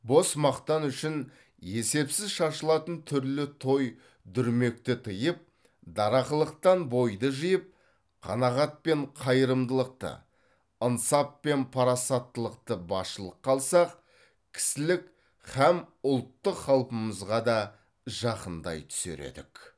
бос мақтан үшін есепсіз шашылатын түрлі той дүрмекті тыйып дарақылықтан бойды жиып қанағат пен қайырымдылықты ынсап пен парасаттылықты басшылыққа алсақ кісілік һәм ұлттық қалпымызға да жақындай түсер едік